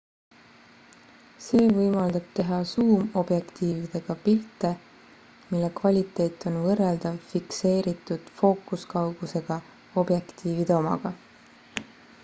see võimaldab teha suumobjektiividega pilte mille kvaliteet on võrreldav fikseeritud fookuskaugusega objektiivide omaga